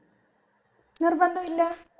നിർബന്ധ ഇല്ല